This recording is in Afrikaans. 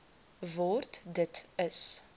word dit is